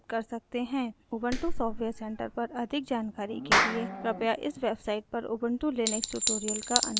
Ubuntu software centre पर अधिक जानकारी के लिए कृपया इस वेबसाइट पर उबंटु लिनक्स ट्यूटोरियल्स का अनुकरण करें